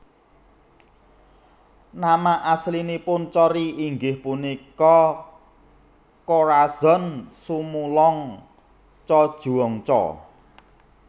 Nama aslinipun Cory inggih punika Corazon Sumulong Cojuangco